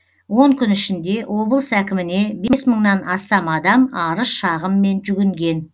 он күн ішінде облыс әкіміне бес мыңнан астам адам арыз шағыммен жүгінген